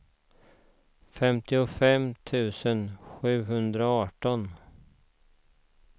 femtiofem tusen sjuhundraarton